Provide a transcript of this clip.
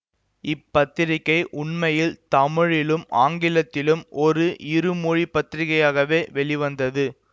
இப் பத்திரிகை உண்மையில் தமிழிலும் ஆங்கிலத்திலும் ஒரு இருமொழிப் பத்திரிகையாகவே வெளிவந்தது